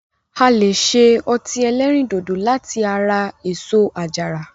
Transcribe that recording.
A lè ṣe ọtí ẹlẹ́rìndòdò láti ara èso àjàrà.